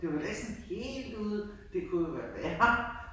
Det jo da ikke sådan helt ude. Det kunne jo være værre